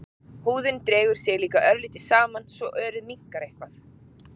Húðin dregur sig líka örlítið saman svo örið minnkar eitthvað.